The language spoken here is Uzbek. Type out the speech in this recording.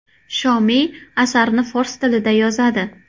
Shomiy asarni fors tilida yozadi.